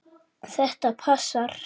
Þetta passar.